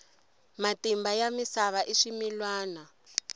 matimba ya misava i swimilwana